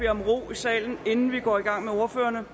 salen inden vi går i gang med ordførerne